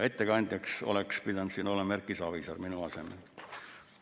Ettekandjaks oleks pidanud siin olema Erki Savisaar minu asemel.